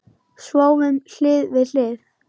Sváfum hlið við hlið.